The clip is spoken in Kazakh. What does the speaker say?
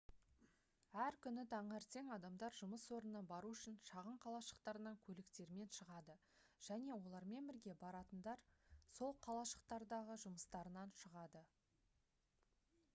әр күні таңертең адамдар жұмыс орнына бару үшін шағын қалашықтарынан көліктермен шығады және олармен бірге баратындар сол қалашықтардағы жұмыстарынан шығады